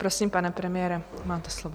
Prosím, pane premiére, máte slovo.